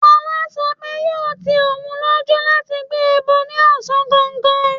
Fola sọ pé yóò ti òun lójú láti gbé ẹbọ ní ọ̀sán gangan.